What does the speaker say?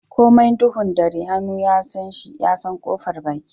Komai duhun ɗare hannu ya San shi ya San kofar baki.